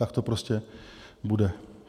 Tak to prostě bude.